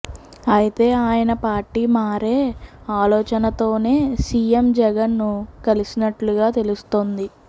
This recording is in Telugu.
అయితే ఆయన పార్టీ మారే ఆలోచనతోనే సీఎం జగన్ను కలిసినట్లుగా తెలుస్తోంది